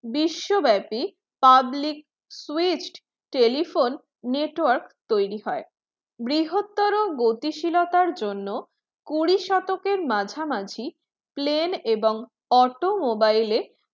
বিশ্বব্যাপি public switched telephone network তৈরী হয়। বৃহত্তর গতিশীলতার জন্য কুড়ি শতকের মাঝামাঝি plane এবং automobile